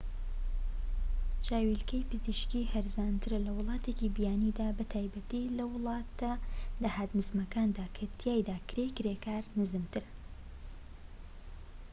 چاویلەکی پزیشکی هەرزانترە لە ولاتێکی بیانیدا بە تایبەتی لە وڵاتە داهات نزمەکاندا کە تیایدا کرێی کرێکار نزمترە